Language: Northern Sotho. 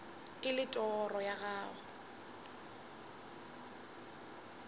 e le toro ya gago